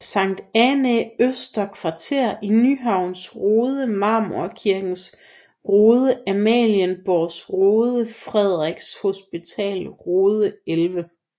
Sankt Annæ Øster Kvarter Nyhavns Rode Marmorkirkens Rode Amalienborgs Rode Frederiks Hospitals Rode 11